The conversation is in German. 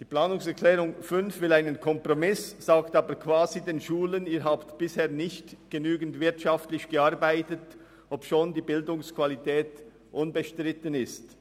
Die Planungserklärung 5 will einen Kompromiss, sagt aber quasi den Schulen, sie hätten bisher nicht genügend wirtschaftlich gearbeitet, obschon die Bildungsqualität unbestritten ist.